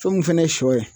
Fɛn mun fɛnɛ ye sɔ ye